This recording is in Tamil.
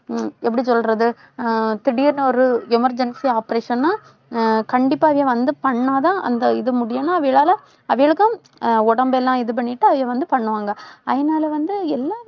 ஹம் எப்படி சொல்றது? ஆஹ் திடீர்ன்னு ஒரு emergency operation னா அஹ் கண்டிப்பா அவிங்க வந்து பண்ணா தான், அந்த இது முடியும். ஏன்னா, அவிகளால அவிகளுக்கு உடம்பெல்லாம் இது பண்ணிட்டு, அவிங்க வந்து பண்ணுவாங்க. அதனால வந்து எல்லா